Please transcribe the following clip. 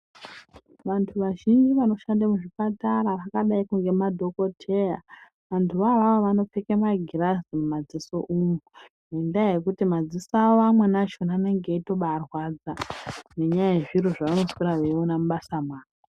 Vantu vazhinji vanoshanda muzvipatara vakadaikwo ngemadhokoteya vantuvo avavo vanopfeka magirazi mumadziso umu ngendaa yekuti madziso awo amqeni acho anenge eibatorwadza nenyaya yezviro zvavanoswera veiona mubasa mavo.